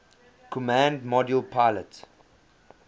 command module pilot